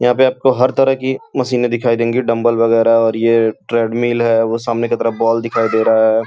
यहाँ पे आपको हर तरह की मशीने दिखाई देंगी। डंबल वगैरह और ये ट्रेड मील है। वो सामने की तरफ बॉल दिखाई दे रहा है।